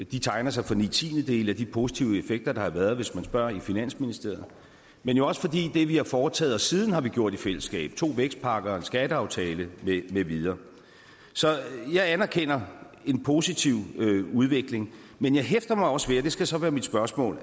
de tegner sig for ni tiendedele af de positive effekter der har været hvis man spørger i finansministeriet men jo også fordi det vi har foretaget os siden er gjort i fællesskab to vækstpakker en skatteaftale med videre så jeg anerkender en positiv udvikling men jeg hæfter mig også ved og det skal så være mit spørgsmål